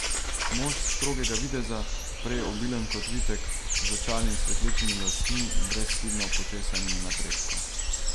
Mož strogega videza, prej obilen kot vitek, z očali in svetlečimi lasmi, brezhibno počesanimi na prečko.